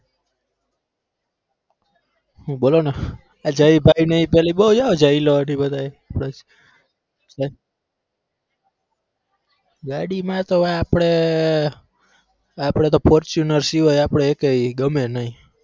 હુ બોલોને આ જય ભાઈને ઈ તણી બહુ છે એ જયલો ને ઈ બધા એ ગાડી માં તો આપડે આપડે તો fortuner સિવાય આપડે એકેય ગમે નઈ.